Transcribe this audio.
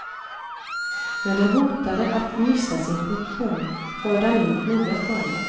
När den hotade att mista sin funktion förde han in nya former.